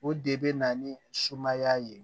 O de bɛ na ni sumaya ye